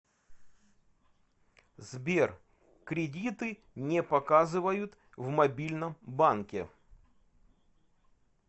сбер кредиты не показывают в мобильном банке